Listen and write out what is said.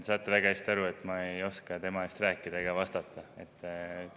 Te saate ju väga hästi aru, et ma ei oska tema eest rääkida ega vastata.